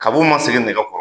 Kab' u ma sigi nɛgɛ kɔrɔ